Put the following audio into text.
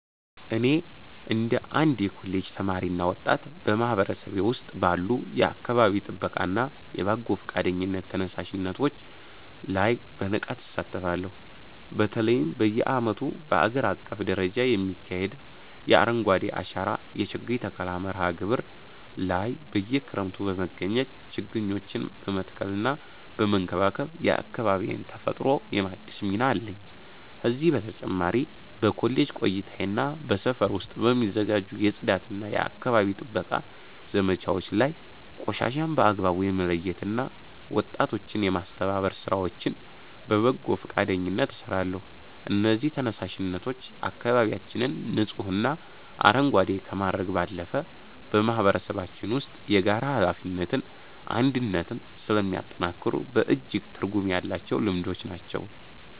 እኔ እንደ አንድ የኮሌጅ ተማሪና ወጣት፣ በማህበረሰቤ ውስጥ ባሉ የአካባቢ ጥበቃና የበጎ ፈቃደኝነት ተነሳሽነቶች ላይ በንቃት እሳተፋለሁ። በተለይም በየዓመቱ በአገር አቀፍ ደረጃ በሚካሄደው የ“አረንጓዴ አሻራ” የችግኝ ተከላ መርሃ ግብር ላይ በየክረምቱ በመገኘት ችግኞችን በመትከልና በመንከባከብ የአካባቢዬን ተፈጥሮ የማደስ ሚና አለኝ። ከዚህ በተጨማሪ በኮሌጅ ቆይታዬና በሰፈር ውስጥ በሚዘጋጁ የጽዳትና የአካባቢ ጥበቃ ዘመቻዎች ላይ ቆሻሻን በአግባቡ የመለየትና ወጣቶችን የማስተባበር ሥራዎችን በበጎ ፈቃደኝነት እሰራለሁ። እነዚህ ተነሳሽነቶች አካባቢያችንን ንጹህና አረንጓዴ ከማድረግ ባለፈ፣ በማህበረሰባችን ውስጥ የጋራ ኃላፊነትንና አንድነትን ስለሚያጠናክሩ በእጅጉ ትርጉም ያላቸው ልምዶች ናቸው።